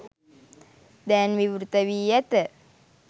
දැන් විවෘත වී ඇත